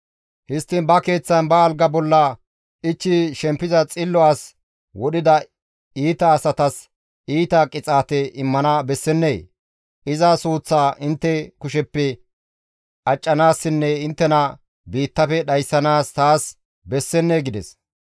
Histtiin ba keeththan ba alga bolla ichchi shempiza xillo as wodhida iita asatas iita qixaate immana bessennee? Iza suuththaa intte kusheppe accanaassinne inttena biittafe dhayssanaas taas bessennee?» gides.